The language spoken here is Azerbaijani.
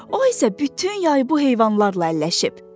O isə bütün yay bu heyvanlarla əlləşib.